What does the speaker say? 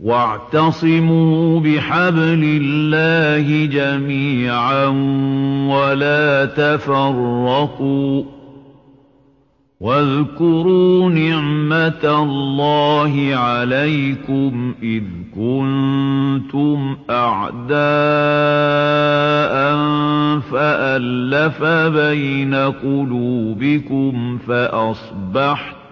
وَاعْتَصِمُوا بِحَبْلِ اللَّهِ جَمِيعًا وَلَا تَفَرَّقُوا ۚ وَاذْكُرُوا نِعْمَتَ اللَّهِ عَلَيْكُمْ إِذْ كُنتُمْ أَعْدَاءً فَأَلَّفَ بَيْنَ قُلُوبِكُمْ فَأَصْبَحْتُم